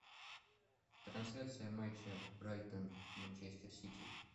трансляция матча брайтон манчестер сити